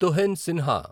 Tuhin Sinha